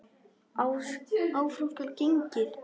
Áfram skal gengið.